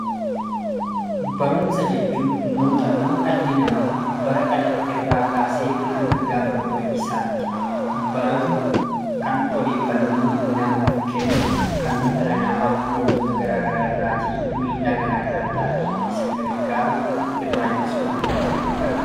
Barumsa jechuun muuxannoo dhalli namaa bara dhalate irraa eegalee hanga gaafa du'a isaatti baratu kan odeeffannoo namaaf kennu kan dhala namaa miidhaa garaa garaa irraa ittisuuf isa gargaaruu dha.